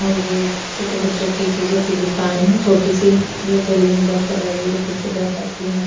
और ये छोटे बच्चों की चीजों की दुकान है छोटी सी जो गली में बस लगाई हुई है पीछे दरख़त भी हैं।